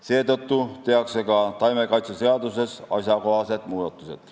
Seetõttu tehakse ka taimekaitseseaduses asjakohased muudatused.